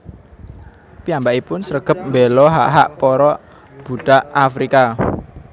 Piyambakipun sregep mbéla hak hak para budak Afrika